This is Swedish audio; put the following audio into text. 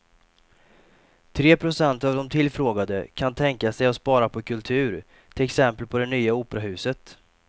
Tre procent av de tillfrågade kan tänka sig att spara på kultur, till exempel på det nya operahuset.